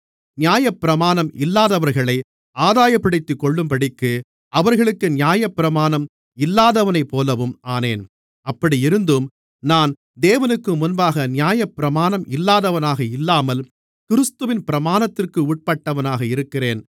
நியாயப்பிரமாணம் இல்லாதவர்களை ஆதாயப்படுத்திக்கொள்ளும்படிக்கு அவர்களுக்கு நியாயப்பிரமாணம் இல்லாதவனைப்போலவும் ஆனேன் அப்படியிருந்தும் நான் தேவனுக்குமுன்பாக நியாயப்பிரமாணம் இல்லாதவனாக இல்லாமல் கிறிஸ்துவின் பிரமாணத்திற்கு உட்பட்டவனாக இருக்கிறேன்